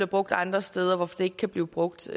brugt andre steder og det ikke kan blive brugt